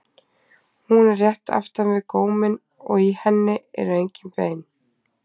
hún er rétt aftan við góminn og í henni eru engin bein